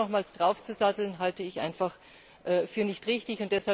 Jetzt hier nochmals draufzusatteln, halte ich einfach für nicht richtig.